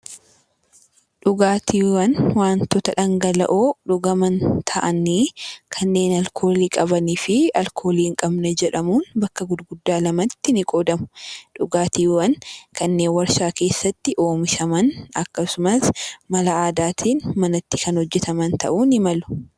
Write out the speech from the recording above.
Dhugaatiiwwan wantoota dhangala'oo dhugaman ta'anii, kanneen alkoolii qabanii fi alkoolii hin qabne jedhamuun bakka gurguddaa lama tti nii qoodamu. Dhugaatiiwwan kanneen warshaa keessatti oomishaman akkasumas mala aadaa tiin manatti kan hojjetaman ta'uu nii malu.